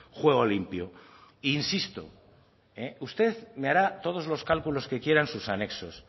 juego limpio insisto usted me hará todos los cálculos que quieran sus anexos